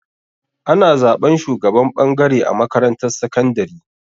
Ana zaɓan shugaban ɓangare a makarantar sakandari.